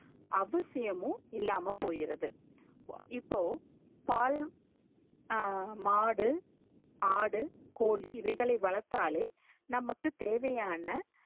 அதிசயமும் இல்லாம போய்றது இப்போ பால் ஹம் மாடு ஆடு கோழி இதைகளை வளாத்தாலே நமக்கு தேவையான